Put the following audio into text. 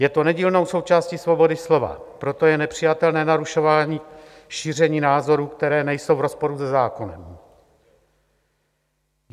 Je to nedílnou součástí svobody slova, proto je nepřijatelné narušování šíření názorů, které nejsou v rozporu se zákonem.